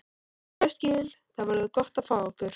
Ég skil- Það verður gott að fá ykkur.